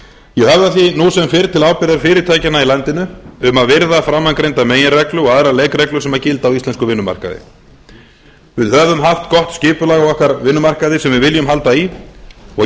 ég höfða því nú sem fyrr til ábyrgðar fyrirtækjanna í landinu um að virða framangreinda meginreglu og aðrar leikreglur sem gilda á íslenskum vinnumarkaði við höfum haft gott skipulag á okkar vinnumarkaði sem við viljum halda í og